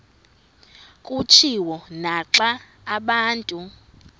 kutshiwo naxa abantu